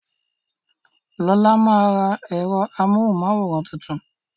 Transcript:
Lola máa ra ẹ̀rọ amóhùn máwòrán tuntun